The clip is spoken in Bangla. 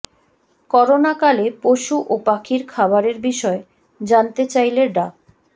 করোনাকালে পশু ও পাখির খাবারের বিষয়ে জানতে চাইলে ডা